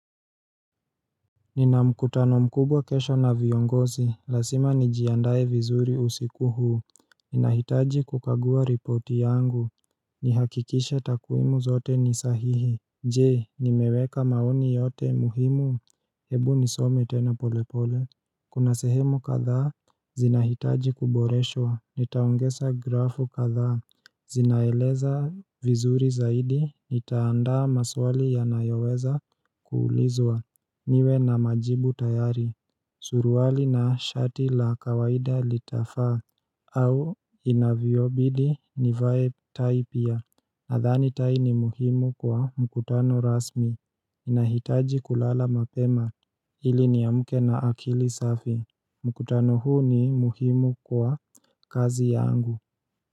Ninamkutano mkubwa kesho na viongozi, lazima nijiandaye vizuri usiku huu Ninahitaji kukagua ripoti yangu, nihakikishe takwimu zote ni sahihi Je, nimeweka maoni yote muhimu, hebu nisome tena polepole Kuna sehemu kadhaa, zinahitaji kuboreshwa, nitaongeza grafu kadhaa Zinaeleza vizuri zaidi, nitaandaa maswali ya nayoweza kuulizwa niwe na majibu tayari Suruali na shati la kawaida litafaa au inavyo bidi nivae tai pia Nadhani tai ni muhimu kwa mkutano rasmi inahitaji kulala mapema Hili ni amke na akili safi mkutano huu ni muhimu kwa kazi yangu.